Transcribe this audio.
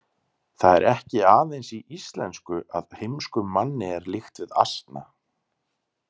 Það er ekki aðeins í íslensku að heimskum manni er líkt við asna.